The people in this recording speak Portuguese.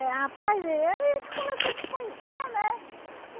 rapaz, aí a gente começou a se conhecer, né?